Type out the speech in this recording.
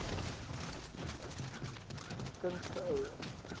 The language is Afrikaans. kind se ouers